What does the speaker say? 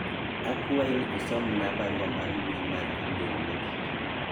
akwayi ni isomna barua mar mbui mar email mogik